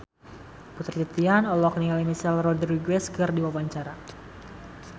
Putri Titian olohok ningali Michelle Rodriguez keur diwawancara